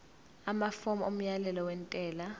amafomu omyalelo wentela